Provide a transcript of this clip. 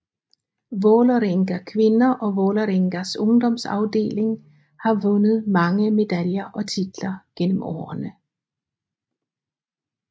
Vålerenga Kvinder og Vålerengas ungdomsafdeling har vundet mange medaljer og titler gennem årene